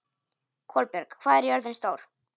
Kolbjörg, hvað er jörðin stór?